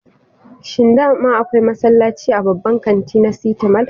Shin daman akwai masallaci a babban kantin na siti mal?